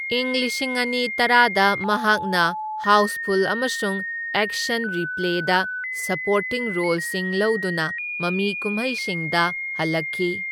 ꯏꯪ ꯂꯤꯁꯤꯡ ꯑꯅꯤ ꯇꯔꯥꯗ ꯃꯍꯥꯛꯅ ꯍꯥꯎꯁꯐꯨꯜ ꯑꯃꯁꯨꯡ ꯑꯦꯛꯁꯟ ꯔꯤꯄ꯭ꯂꯦꯗ ꯁꯄꯣꯔꯇꯤꯡ ꯔꯣꯜꯁꯤꯡ ꯂꯧꯗꯨꯅ ꯃꯃꯤꯀꯨꯝꯍꯩꯁꯤꯡꯗ ꯍꯜꯂꯛꯈꯤ꯫